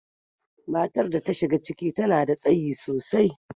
Matar da ta shiga ciki, ta nada tsayi sosai.